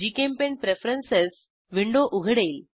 GChemPaint preferences window उघडेल